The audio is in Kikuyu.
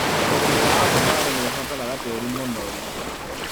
ũrĩmi wa avocando nĩũbataraga tĩri mũnoru.